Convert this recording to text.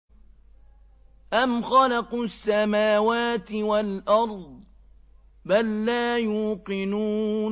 أَمْ خَلَقُوا السَّمَاوَاتِ وَالْأَرْضَ ۚ بَل لَّا يُوقِنُونَ